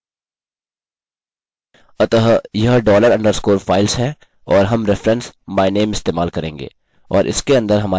अतः यह dollar underscore files है और हम रेफेरेंस myname इस्तेमाल करेंगे